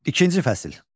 İkinci fəsil.